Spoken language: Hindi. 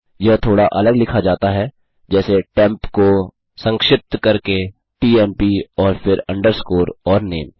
यह थोड़ा अलग लिखा जाता है जैसे टेम्प को संक्षिप्त करके टीएमपी और फिर अंडरस्कोर और नामे